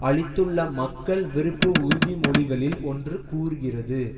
அளித்துள்ள மக்கள் விருப்பு உறுதிமொழிகளில் ஒன்று கூறுகிறது